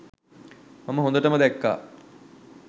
මම හොඳටම දැක්කා.